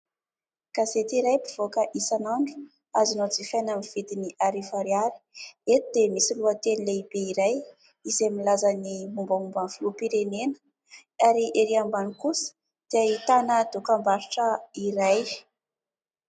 Gazety iray mpivoaka isan'andro azonao jifaina amin' ny vidiny arivo ariary ; eto dia misy lohateny lehibe iray izay milaza ny mombamomban 'ny filoham-pirenena ary erỳ ambany kosa dia ahitana dokam-barotra iray.